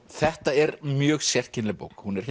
þetta er mjög sérkennileg bók hún er